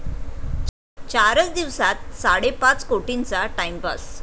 चारच दिवसांत साडेपाच कोटींचा 'टाइमपास'